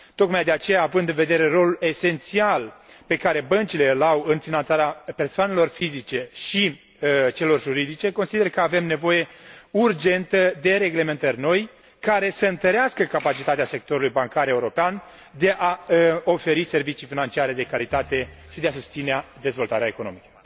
Tocmai de aceea, având în vedere rolul esențial pe care băncile îl au în finanțarea persoanelor fizice și a celor juridice, consider că avem nevoie urgentă de reglementări noi, care să întărească capacitatea sectorului bancar european de a oferi servicii financiare de calitate și de a susține dezvoltarea economică.